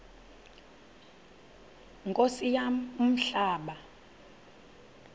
nkosi yam umhlaba